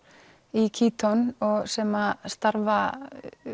í Kíton sem starfa